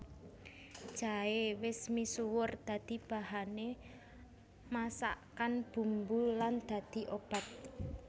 Jaé wis misuwur dadi bahané masakan bumbu lan dadi obat